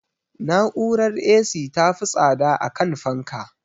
Na'urar A.C ta fi tsada akan fanka